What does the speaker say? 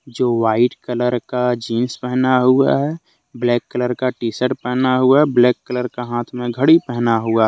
जो white colour का jeans पहना हुआ है ब्लैक कलर का टीशर्ट पहना हुआ है ब्लैक कलर का हाथ में घड़ी पहना हुआ है।